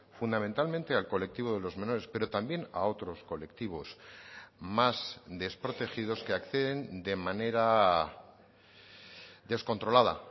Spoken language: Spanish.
fundamentalmente al colectivo de los menores pero también a otros colectivos más desprotegidos que acceden de manera descontrolada